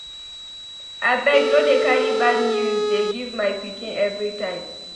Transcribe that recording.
Abeg no dey carry bad news dey give my pikin everytime